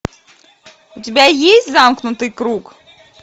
у тебя есть замкнутый круг